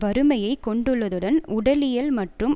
வறுமையை கொண்டுள்ளதுடன் உடலியல் மற்றும்